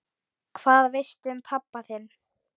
Hvað veistu um pabba þinn?